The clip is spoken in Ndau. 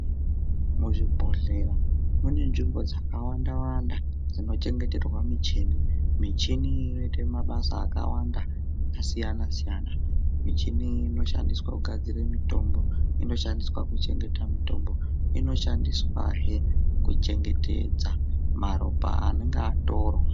Muzvibhedhlera mune nzvimbo dzakawanda wanda dzinochengeterwa michini michini iyi inoite mabasa akawanda akasiyana siyana michini iyi inoshandiswa kugadzira mitombo inoshandiswa kuchengeta mitombo inoshandiswahe kuchengetedza maropa anonga atorwa.